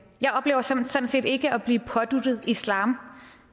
jeg oplever sådan set ikke at blive påduttet islam